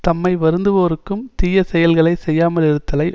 தம்மை வருந்துவோர்க்கும் தீய செயல்களை செய்யாமலிருத்தலை